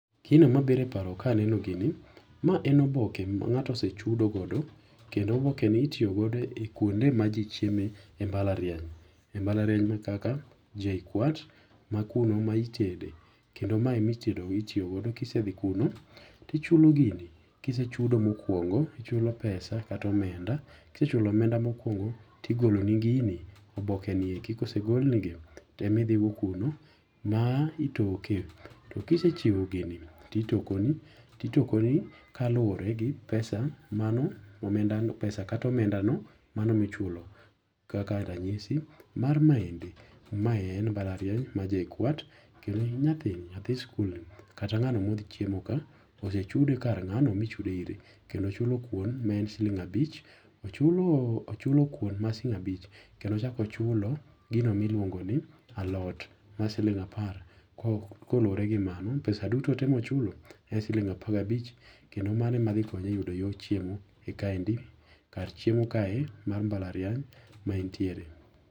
Gino ma biro e paro ka aneno gini. Ma en oboke ma ng'ato ose chudo godo. Kendo oboke ni itiyogodo e kwonde ma ji chieme e mbalariany. E mbalariany ma kaka JKUAT ma kuno ma itede kendo ma ema itedo itiyogo kisedhi kuno ti ichulo gini kisechudo mokwongo ichulo pesa kata omenda. Kisechulo omenda mokwongo to igoloni gini, oboke nieki , kosegolnigi to ema idhigo kuno ma itoke. To kisechiwo gini to itokoni to itokoni kaluwore gi pesa mano omenda pesa kata omenda no mano michulo. Kaka ranyisi mar maende mae en mbalariany mar JKUAT kendo nyathi nyathi skul kata ng'ano modhi chiemo ka odhi chud kar ng'ano mi ichudo ire. Kendo ochulo kuon ma en siling abich ochulo kuon ma siling abich kendo ochako ochulo gino miluongo ni alot mar siling apar kolure gi mano pesa duto te mochulo en siling apar gi abich kendo mano e ma dhi konye e yudo yo chiemo e kaendi kar chiemo kae mar mbalariany ma entiere.